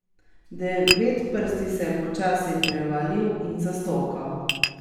Devetprsti se je počasi prevalil in zastokal.